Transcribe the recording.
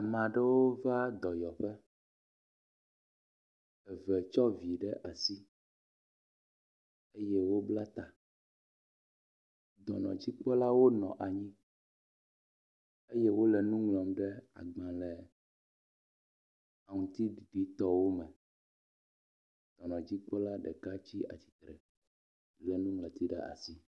Ame aɖewo va dɔyɔƒe, eve tsɔ vi ɖe asi eye wobla ta. Dɔnɔdzikpɔlawo nɔ anyi eye wole nuŋlɔm ɖe agbalẽ aŋutiɖiɖi tɔwo me. Dɔnɔdzikpɔla ɖeka tsi atsitre le nuŋlɔti ɖe asi.